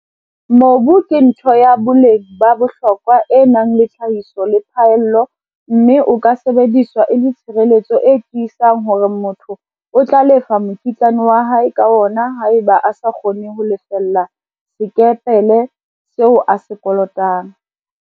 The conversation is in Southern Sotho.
Mobu ke ntho ya boleng ba bohlokwa e nang le tlhahiso le phaello mme o ka sebediswa e le tshireletso e tiisang hore motho o tla lefa mokitlane wa hae ka wona haeba a sa kgone ho lefella sekepele seo a se kolotang.